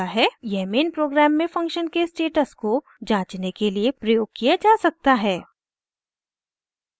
यह main program में function के स्टेटस को जाँचने के लिए प्रयोग किया जा सकता है